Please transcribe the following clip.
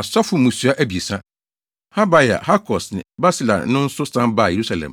Asɔfo mmusua abiɛsa: Habaia, Hakos ne Barsilai no nso san baa Yerusalem.